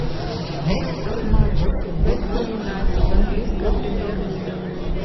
матч вест хэм юнайтед английская премьер лига